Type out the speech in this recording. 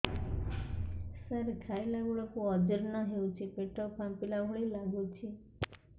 ସାର ଖାଇଲା ବେଳକୁ ଅଜିର୍ଣ ହେଉଛି ପେଟ ଫାମ୍ପିଲା ଭଳି ଲଗୁଛି